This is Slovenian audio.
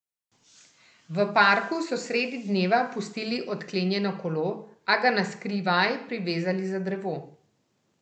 V parku so sredi dneva pustili odklenjeno kolo, a ga na skrivaj privezali za drevo.